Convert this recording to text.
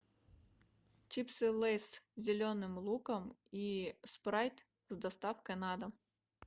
чипсы лейс с зеленым луком и спрайт с доставкой на дом